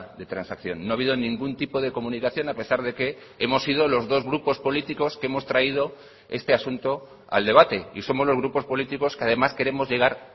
de transacción no ha habido ningún tipo de comunicación a pesar de que hemos sido los dos grupos políticos que hemos traído este asunto al debate y somos los grupos políticos que además queremos llegar